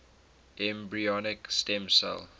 embryonic stem cell